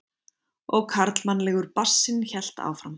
Og karlmannlegur bassinn hélt áfram.